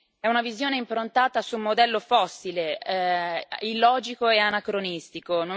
È una visione improntata su un modello fossile, illogico e anacronistico.